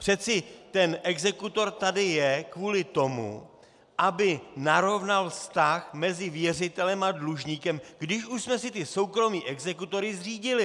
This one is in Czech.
Přece ten exekutor tady je kvůli tomu, aby narovnal vztah mezi věřitelem a dlužníkem, když už jsme si ty soukromé exekutory zřídili.